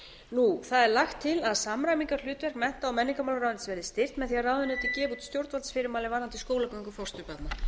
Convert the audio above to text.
það er lagt til að samræmingarhlutverk mennta og menningarmálaráðuneytis verði styrkt með því að ráðuneytið gefi út stjórnvaldsfyrirmæli varðandi skólagöngu fósturbarna